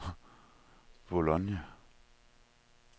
Bologna